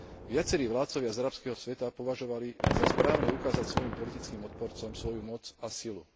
Viacerí vládcovia z arabského sveta považovali za správne ukázať svojim politickým odporcom svoju moc a silu.